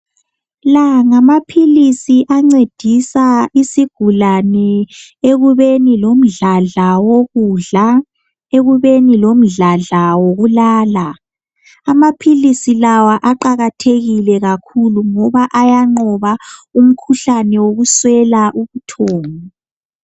La ngamaphilisi ancedisa isigulane ekubeni lomdladla wokudla ekubeni lomdladla wokulala amaphilisi lawa aqakathekile kakhulu ngoba ayanqoba umkhuhlane wokuswela ubuthongo.